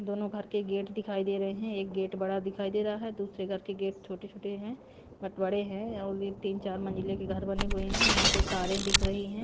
दोनों घर के गेट दिखाई दे रहे हैं एक गेट बड़ा दिखाई दे रहा है दूसरे घर के गेट छोटे-छोटे हैं बट बड़े हैं और ये तीन-चार मंजिले के घर बने हुए हैं यहां पे तारें दिख रही हैं।